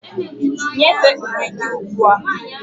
Nyefee uri gị ugbu a!